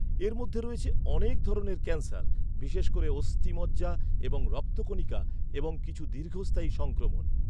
এর মধ্যে রয়েছে অনেক ধরনের ক্যান্সার, বিশেষ করে অস্থি মজ্জা এবং রক্তকণিকা এবং কিছু দীর্ঘস্থায়ী সংক্রমণ।